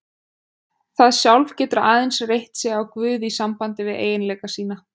Það sjálf getur aðeins reitt sig á guð í sambandi við eiginleika sína.